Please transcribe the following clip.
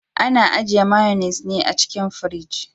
Ana ajiye mayonnes ne a cikin firji.